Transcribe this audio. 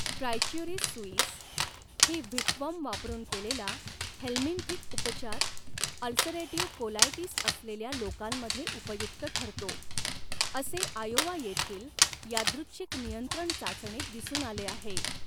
Trichuris suis ही whipworm वापरून केलेला हेल्मिंथिक उपचार अल्सरेटिव्ह कोलायटिस असलेल्या लोकांमध्ये उपयुक्त ठरतो, असे आयोवा येथील यादृच्छिक नियंत्रण चाचणीत दिसून आले आहे.